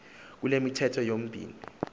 kule mithetho yomibini